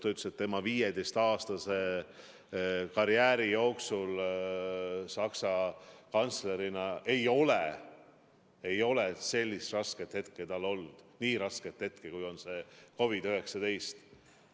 Ta ütles, et tema 15-aastase karjääri jooksul Saksa kantslerina ei ole tal olnud nii rasket aega kui see, mille on põhjustanud COVID-19.